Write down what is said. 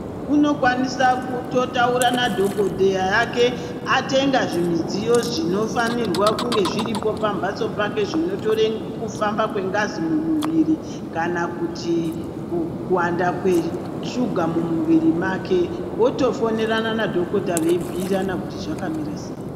Muntu unokwanisa kutotaura nadhokodheya wake atenga zvimidziyo zvinofanirwa kunge zviripo pamhatso pake zvinotore kufamba kwengazi mumuwiri, kana kuti kuwanda kweshuga mumuwiri wake, otofonerana nadhokota veibhuyirana kuti zvakamira sei.